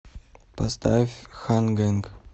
поставь хан гэнг